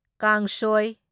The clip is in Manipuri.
ꯀꯥꯡꯁꯣꯢ